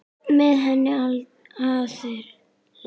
Með hennar aðild.